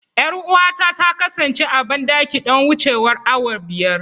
Yar'uwata ta kasance a bandaki don wucewar awa biyar.